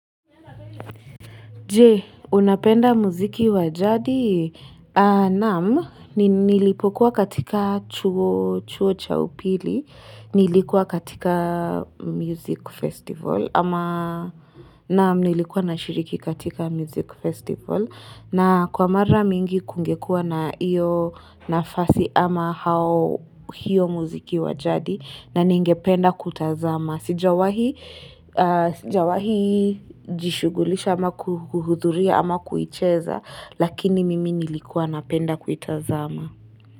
Je, unapenda muziki wajadi? Nam, nilipokuwa katika chuo cha upili, nilikuwa katika music festival, ama nam nilikuwa nashiriki katika music festival, na kwa mara mingi kungekuwa na iyo nafasi ama hao hiyo muziki wajadi, na ningependa kutazama Sijawa hii jishugulisha ama kuhudhuria ama kuicheza Lakini mimi nilikua napenda kuitazama.